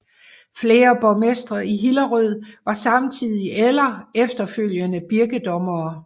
Flere borgmestre i Hillerød var samtidig eller efterfølgende birkedommere